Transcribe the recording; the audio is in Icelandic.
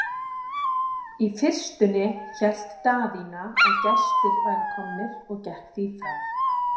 Í fyrstunni hélt Daðína að gestir væru komnir og gekk því fram.